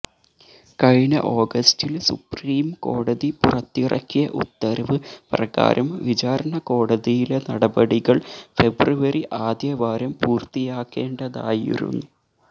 കഴിഞ്ഞ ഓഗസ്റ്റില് സുപ്രീം കോടതി പുറത്തിറക്കിയ ഉത്തരവ് പ്രകാരം വിചാരണ കോടതിയിലെ നടപടികള് ഫെബ്രുവരി ആദ്യ വാരം പൂര്ത്തിയാകേണ്ടതായിരുന്നു